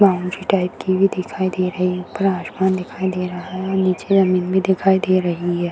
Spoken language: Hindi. बाउंड्री टाइप की भी दिखाई दे रही है ऊपर आसमान दिखाई दे रहा है नीचे जमीन भी दिखाई दे रही है।